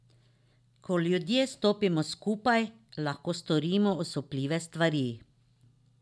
Ko ljudje stopimo skupaj, lahko storimo osupljive stvari.